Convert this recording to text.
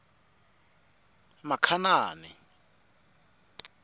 makhanani